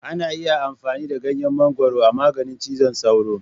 Ana iya amfani da ganyen mangwaro a maganin cizon sauro.